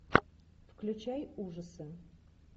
включай ужасы